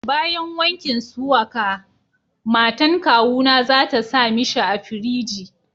Bayan wankin suwaka, matan kawuna za ta sa mishi a firiji.